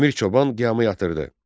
Əmir Çoban qiyamı yatırtdı.